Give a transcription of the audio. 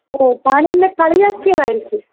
ഓ താനെന്നെ കളിയാക്കിയതായിരിക്കും.